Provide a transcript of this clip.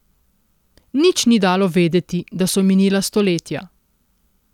Nič ni dalo vedeti, da so minila stoletja.